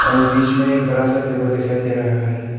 और बीच में एक बड़ा सा टेबल दिखाई दे रहा है।